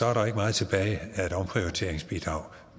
er der ikke meget tilbage af et omprioriteringsbidrag